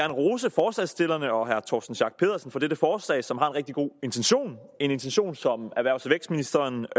rose forslagsstillerne og herre torsten schack pedersen for dette forslag som har en rigtig god intention en intention som erhvervs og vækstministeren